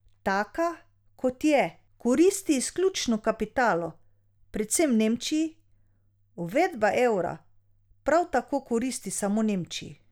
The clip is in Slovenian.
Taka, kot je, koristi izključno kapitalu, predvsem v Nemčiji, uvedba evra prav tako koristi samo Nemčiji.